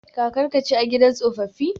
Kakarka ce a gidan tsofaffi?